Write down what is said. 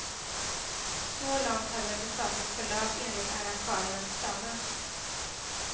Så långt hade besöket förlöpt enligt arrangörernas planer.